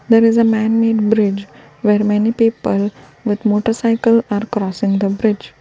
there is a man made bridge where many people with motor cycle are crossing the bridge.